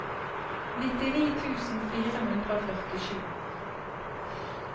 nittini tusen fire hundre og førtisju